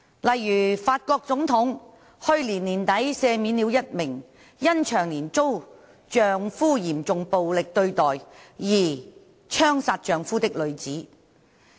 例如，法國總統去年年底赦免了一名因長年遭丈夫嚴重暴力對待而槍殺丈夫的女子。